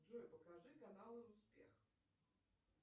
джой покажи канал успех